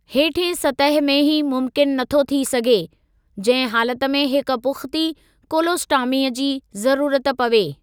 हेठिएं सतह में ही मुम्किनु नथो थी सघे, जंहिं हालत में हिक पुख़्ती कोलोस्टॉमीअ जी ज़रूरत पवे।